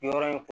Yɔrɔ in